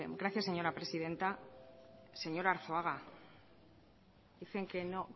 gracias señora presidenta señor arzuaga dicen que no